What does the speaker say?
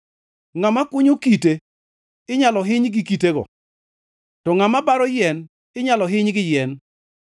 Ngʼama kunyo kite inyalo hiny gi kitego; to ngʼama baro yien inyalo hiny gi yien.